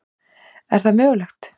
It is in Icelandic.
Er það mögulegt?